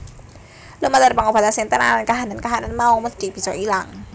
Lumantar pangobatan sing tenanan kahanan kahanan mau mesthi bisa ilang